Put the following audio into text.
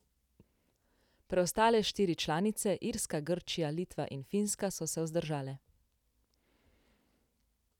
Preostale štiri članice, Irska, Grčija, Litva in Finska, so se vzdržale.